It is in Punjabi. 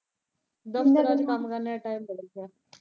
ਕੰਮ ਕਰਨੇ ਦਾ ਟਾਈਮ ਤਾਂ ਲੱਗਿਆ।